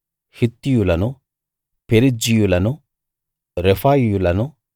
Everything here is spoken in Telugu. హిత్తీయులను పెరిజ్జీయులను రెఫాయీయులను